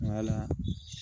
Nka la